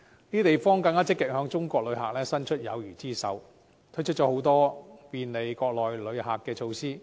這些地方更積極向中國旅客伸出友誼之手，推出很多便利國內旅客的措施。